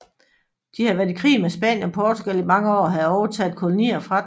De havde været i krig med Spanien og Portugal i mange år og havde overtaget kolonier fra dem